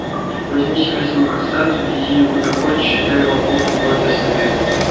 возьми себе свою красавицу вези её куда хочешь и дай вам бог любовь да совет